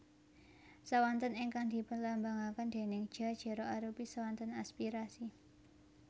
Swanten ingkang dipunlambangaken déning Ja jera arupi swanten aspirasi